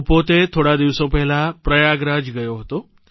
હું પોતે થોડા દિવસો પહેલાં પ્રયાગરાજ ગયો હતો